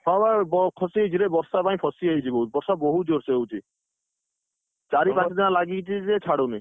ହଁ, ବା ଫସିଯାଇଛି ରେ ବର୍ଷା ପାଇଁ ଫସିଯାଇଛି ବହୁତ ବର୍ଷା ବହୁତ ଜୋରସେ ହଉଛି, ଚାରି ପାଞ୍ଚ ଦିନ ହେଲା ଲାଗିଛି ଜେ ଛାଡ଼ୁନି।